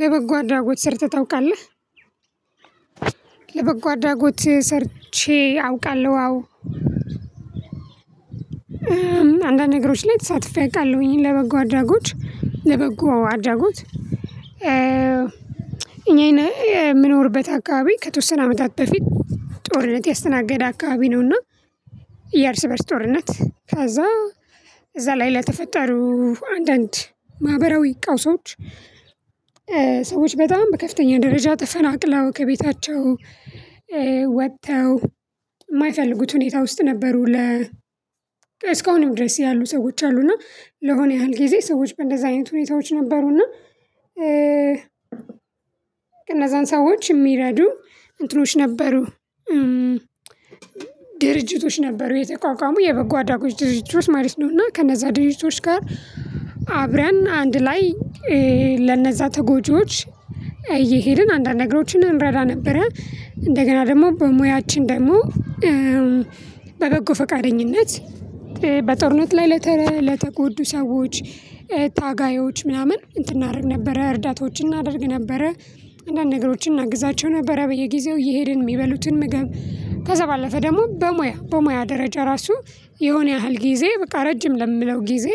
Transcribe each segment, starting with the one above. ለበጎ አድራጎት ሰርተህ ታውቃለህ? ለበጎ አድራጎት ሰርቼ አውቃለሁ አው። አንዳንድ ነገሮች ላይ ተሳትፌ አውቃለሁኝ ለበጎ አራጎች ለበጎ አድራጎት። እኛ የምኖርበት አካባቢ ከተወሰነ አመታት በፊት ጦርነት ያስተናገደ አካባቢ ነው። እና የእርስ በእርስ ጦርነት ከዛ እዛ ላይ ለተፈጠሩ አንዳንድ ማህበራዊ ቀውሶች። ሰዎች በጣም በከፍተኛ ደረጃ ተፈናቅለው ከቤታቸው ወጥተው ማይፈልጉት ሁኔታ ውስጥ ነበሩ። ለ እስካሁንም ድረስ ያሉ ሰዎች አሉና። ለሆነ ያህል ጊዜ ሰዎች በእንደዚያ አይነት ሁኔታዎች ነበሩ። እና እነዛን ሰዎች የሚረዱ እንትኖች ነበሩ። ድርጅቶች ነበሩ የተቋቋሙ የበጎ አድራጎት ድርጅቶች ማለት ነው። እና ከነዛ ድርጅቶች ጋር አብረን አንድ ላይ ለነዛ ተጎጂዎች እየሄድን አንዳንድ ነገሮችን እንረዳ ነበረ። እንደገና ደግሞ በሙያችን ደግሞ በበጎ ፈቃደኝነት በጦርነት ላይ ለተ ለተጎዱ ሰዎች ታጋዮች ምናምን እንትን እናድርግ ነበረ እርዳታዎችን እናደርግ ነበረ። አንዳንድ ነገሮችን እናግዛቸው ነበረ በየጊዜው እየሄድን የሚበሉትን ምግብ ከዛ ባለፈ ደግሞ በሙያ በሙያ ደረጃ ራሱ የሆነ ያህል ጊዜ በቃ ረጅም ለምለው ጊዜ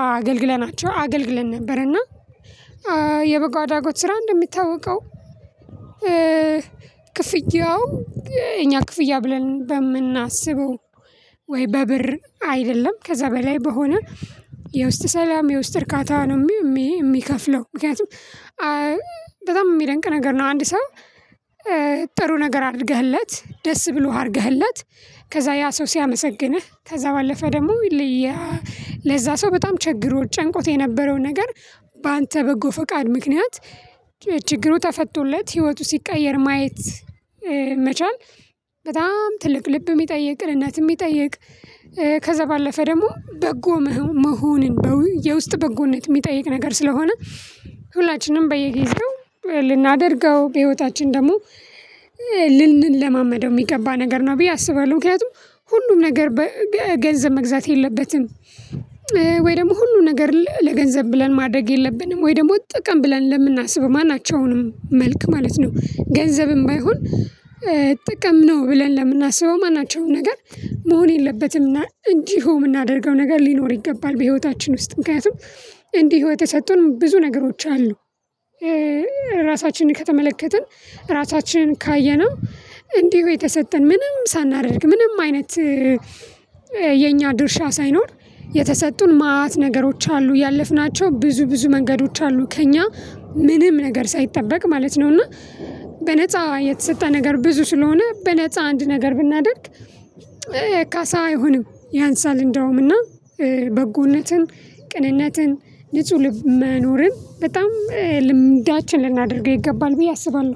አገልግለናቸው አገልግለን ነበርና። የበጎ አድራጎት ስራ እንደምታወቀው። ክፍያው እኛ ክፍያ ብለን በምናስበው ወይ በብር አይደለም ከዛ በላይ በሆነ የውስጥ ሰላም የውስጥ እርካታ ነው። የሚከፍለው ምክንያቱም በጣም ሚደንቅ ነገር ነው። አንድ ሰው ጥሩ ነገር አድርገህለት ደስ ብሎህ አድርገህለት ከዛ ያ ሰው ሲያመሰግንህ ከዛ ባለፈ ደግሞ ለዛ ሰው በጣም ችግሮት ጨንቆት የነበረው ነገር በአንተ በጎ ፈቃድ ምክንያት ችግሩ ተፈቶለት ህይወቱ ሲቀየር ማየት መቻል። በጣም ትልቅ ልብ ሚጠይቅ ቅንነት የሚጠይቅ ከዛ ባለፈ ደግሞ በጎ መሆን በው የውስጥ በጎነት የሚጠይቅ ነገር ስለሆነ። ሁላችንም በየጊዜው ልናደርገው በህይወታችን ደግሞ ልንለማመደው የሚገባ ነገር ነው ብዬ አስባለሁ። ምክንያቱም ሁሉም ነገር ገንዘብ መግዛት የለበትም። ወይ ደግሞ ሁሉም ነገር ለገንዘብ ብለን ማድረግ የለብንም ወይ ደግሞ ጥቅም ብለን ለምናስብ ማናቸውንም መልክ ማለት ነው። ገንዘብም ባይሆን ጥቅም ነው ብለን ለምናስበው ማናቸውን ነገር መሆን የለበትም እና እንዲሁ ምናደርገው ነገር ሊኖር ይገባል። በህይወታችን ውስጥ ምክንያቱም እንዲሁ የተሰጡን ብዙ ነገሮች አሉ። ራሳችንን ከተመለከትን ራሳችንን ካየነው እንዲሁ የተሰጠን ምንም ሳናደርግ ምንም አይነት የኛ ድርሻ ሳይኖር የተሰጡን ማት ነገሮች አሉ ያለፍናቸው ብዙ ብዙ መንገዶች አሉ ከእኛ ምንም ነገር ሳይጠበቅ ማለት ነው። እና በነፃ የተሰጠ ነገር ብዙ ስለሆነ በነፃ አንድ ነገር ብናደርግ ካሳ አይሆንም። ያንሳል እንደውም እና በጎነትን ቅንነትን ንጹህ ልብ መኖርን በጣም ልምዳችን ልናደርገው ይገባል ብዬ አስባለሁ።